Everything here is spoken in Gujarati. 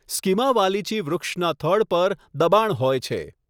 સ્કિમા વાલિચી વૃક્ષના થડ પર દબાણ હોય છે.